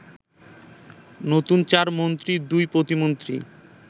নতুন চার মন্ত্রী, দুই প্রতিমন্ত্রি